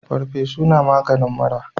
Farfesu na maganin mura